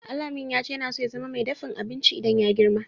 Alamin ya ce yana so ya zama mai daffin abinci idan ya yi girma.